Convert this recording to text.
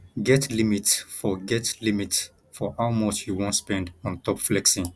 get limit for get limit for how much you wan spend on top flexing